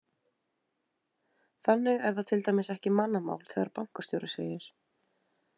Þannig er það til dæmis ekki mannamál þegar bankastjóri segir: